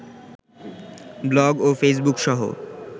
blog ও ফেইসবুকসহ